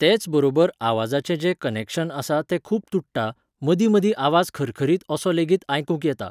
तेच बरोबर आवाजाचें जें कनेक्शन आसा तें खूब तुट्टा, मदीं मदीं आवाज खरखरीत असो लेगीत आयकूंक येता